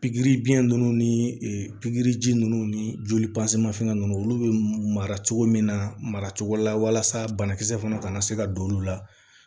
Pikiri biɲɛ nunnu ni pikiri ji nunnu ni joli nunnu olu be mara cogo min na mara cogo la walasa banakisɛ fana ka na se ka don olu la